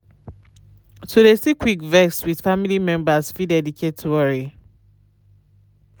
to de see quick vex with faily members fit dedicate worry.